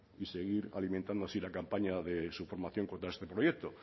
y seguir alimentando así la campaña de su formación contra este proyecto